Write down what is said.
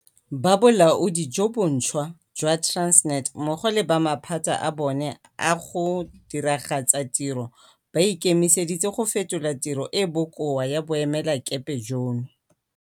Ba bolaodi jo bontšhwa jwa Transnet mmogo le ba maphata a bona a go diragatsa tiro ba ikemiseditse go fetola tiro e e bokoa ya boemelakepe jono.